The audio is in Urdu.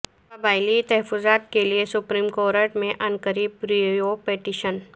قبائلی تحفظات کیلئے سپریم کورٹ میں عنقریب ریویو پٹیشن